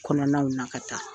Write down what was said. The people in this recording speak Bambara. Kɔnɔnaw na ka taa.